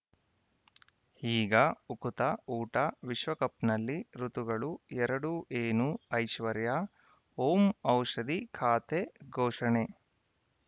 ಈಗ ಉಕುತ ಊಟ ವಿಶ್ವಕಪ್‌ನಲ್ಲಿ ಋತುಗಳು ಎರಡು ಏನು ಐಶ್ವರ್ಯಾ ಓಂ ಔಷಧಿ ಖಾತೆ ಘೋಷಣೆ